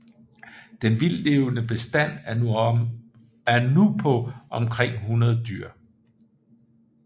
Den vildtlevende bestand er nu på omkring 100 dyr